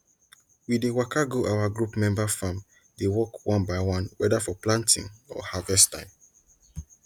we dey waka go our group member farm dey work one by one whether for planting or harvest time